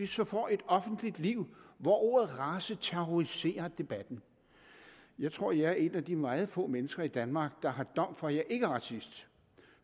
så får et offentlig liv hvor ordet race terroriserer debatten jeg tror at jeg er et af de meget få mennesker i danmark der har dom for at jeg ikke er racist